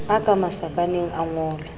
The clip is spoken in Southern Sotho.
a ka masakaneng a ngolwe